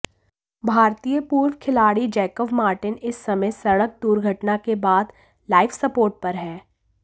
भारतीय पूर्व खिलाड़ी जैकब मार्टिन इस समय सड़क दुर्घटना के बाद लाइफ सपोर्ट पर है